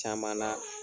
Caman na